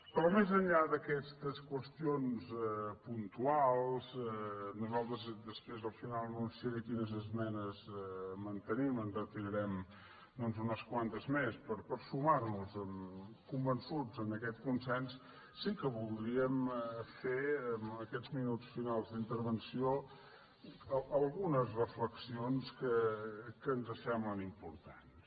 però més enllà d’aquestes qüestions puntuals nosaltres després al final anunciaré quines esmenes mantenim en retirarem doncs unes quantes més per sumar·nos convençuts a aquest consens sí que voldríem fer en aquests minuts finals d’intervenció algunes reflexions que ens semblen importats